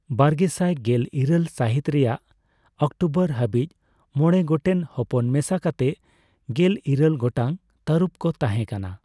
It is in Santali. ᱵᱟᱨᱜᱮᱥᱟᱭ ᱜᱮᱞᱤᱨᱟᱹᱞ ᱥᱟᱹᱦᱤᱛ ᱨᱮᱭᱟᱜ ᱚᱠᱴᱳᱵᱚᱨ ᱦᱟᱹᱵᱤᱡ, ᱢᱚᱬᱮ ᱜᱚᱴᱮᱱ ᱦᱚᱯᱚᱱ ᱢᱮᱥᱟ ᱠᱟᱛᱮ ᱜᱮᱞ ᱤᱨᱟᱹᱞ ᱜᱚᱴᱟᱝ ᱛᱟᱹᱨᱩᱵ ᱠᱚ ᱛᱟᱦᱮᱸᱠᱟᱱᱟ ᱾